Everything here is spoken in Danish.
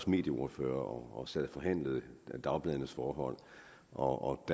medieordfører og sad og forhandlede dagbladenes forhold og